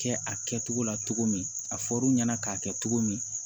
Kɛ a kɛtogo la cogo min a fɔr'u ɲɛna k'a kɛ cogo min